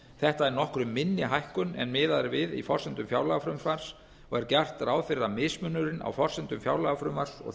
þetta er nokkru minni hækkun en miðað er við í forsendum fjárlagafrumvarps og er gert ráð fyrir að mismunurinn á forsendum fjárlagafrumvarps og